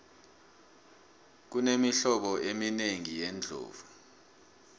kunemihlobo embili yeendlovu